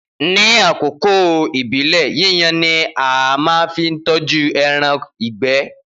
Ni akoko ibile yiyan ni a máa fi tọju ẹran igbe